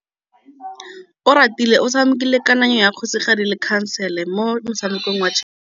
Oratile o tshamekile kananyô ya kgosigadi le khasêlê mo motshamekong wa chess.